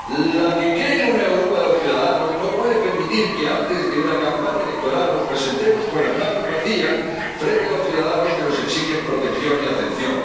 La que cree en una Europa de los ciudadanos no puede permitir que antes de una campaña electoral nos presentemos con las manos vacías frente a los ciudadanos que nos exigen protección y atención.